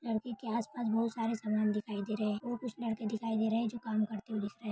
लड़के के आसपास बहुत सरे सामान दिखाई दे रहा है और कुछ लड़के दिखाई दे रहे है जो कम करते हुए दी--